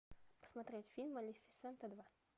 смотреть фильм малефисента два